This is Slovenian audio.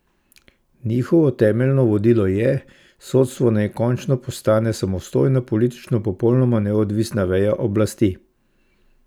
Njihovo temeljno vodilo je: "Sodstvo naj končno postane samostojna politično popolnoma neodvisna veja oblasti".